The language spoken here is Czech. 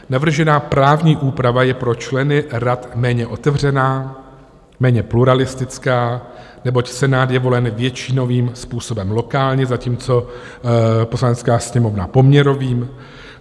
Navržená právní úprava je pro členy rad méně otevřená, méně pluralistická, neboť Senát je volen většinovým způsobem lokálně, zatímco Poslanecká sněmovna poměrovým.